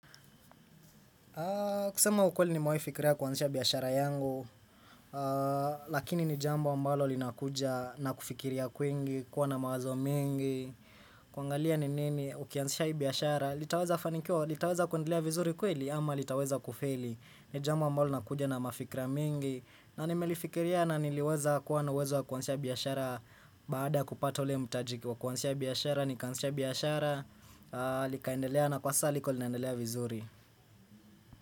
Kusema ukweli nimewahi fikiria kuanzisha biashara yangu, lakini ni jambo ambalo linakuja na kufikiria kwingi, kuwa na mawazo mengi, kuangalia ni nini ukianzisha hii biashara, litaweza kufanikiwa, litaweza kuendelea vizuri kweli ama litaweza kufeli. Ni jambo ambalo linakuja na mafikira mingi, na nimelifikiria na niliweza kuwa na uwezo wa kuanzisha biashara baada kupata ule mtaji wa kuanzisha biashara, nikaanzisha biashara, likaendelea na kwa sasa liko linaendelea vizuri.